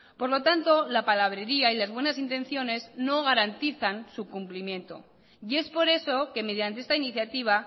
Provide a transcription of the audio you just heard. por lo tanto la palabrería y las buenas intenciones no garantizan su cumplimiento y es por eso que mediante esta iniciativa